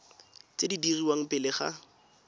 tse di dirwang pele ga